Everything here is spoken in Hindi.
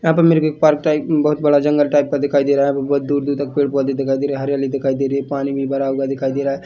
यहाँ पे मेरे को एक पार्क टाइप बहोत बड़ा जंगल टाइप दिखाई दे रहा है यहाँ पे बहोत दूर दूर तक पेड़ पौधे दिखाई दे रहे है हरियाली दिखाई दे रही है पानी भी भरा हुआ दिखाई दे रहा है।